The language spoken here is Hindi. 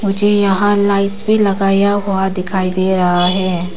मुझे यहां लाइट्स भी लगाया हुआ दिखाई दे रहा है।